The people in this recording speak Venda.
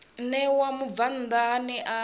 ṋewa mubvann ḓa ane a